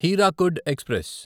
Hirakud express